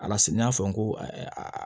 A la siga n'a fɔ n ko